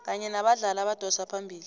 kanye nabadlali abadosa phambili